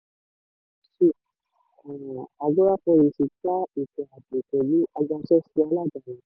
two um agora policy dá um ètò ààbò pẹ̀lú agbáṣẹ́ṣe aládani.